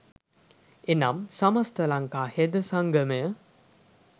එනම්, සමස්ත ලංකා හෙද සංගමය,